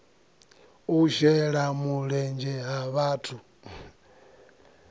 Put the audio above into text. u shela mulenzhe ha vhathu